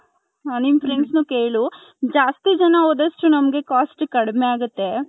ನಿಮ್ friends ನು ಕೇಳು ಜ್ಯಾಸ್ತಿ ಜನ ಹೋದಷ್ಟು ನಮ್ಮಗೆ cost ಕಡಿಮೆ ಆಗುತ್ತೆ .